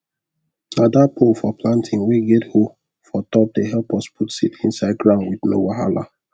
na that pole for planting wey get hoe for top de help us put seed inside ground with no wahala